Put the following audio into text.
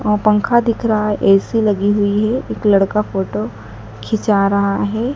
वहां पंखा दिख रहा है ऐ_सी लगी हुई है एक लड़का फोटो खीचा रहा है।